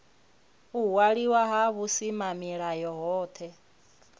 u waliwa ha vhusimamilayo hohe